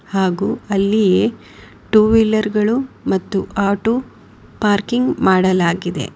ಹಾಗೂ ಅಲ್ಲಿ two wheeler ಗಳು ಮತ್ತು ಆಟೋ ಪಾರ್ಕಿಂಗ್ ಮಾಡಲಾಗಿದೆ.